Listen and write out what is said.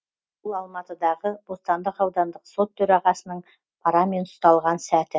бұл алматыдағы бостандық аудандық сот төрағасының парамен ұсталған сәті